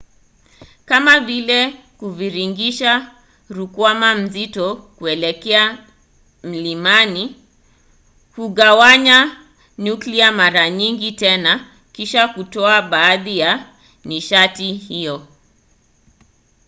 kama vile kuviringisha rukwama nzito kuelekea mlimani. kugawanya nyuklia mara nyingine tena kisha kutoa baadhi ya nishati hiyo